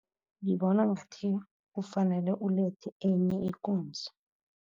Ngibona ngathi kufanele ulethe enye ikunzi.